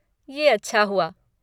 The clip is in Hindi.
ये अच्छा हुआ।